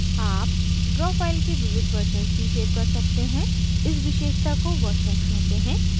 आप draw file के विविध versions भी सेव कर सकते हैं इस विशेषता को versions कहते हैं